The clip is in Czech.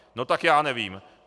No tak já nevím.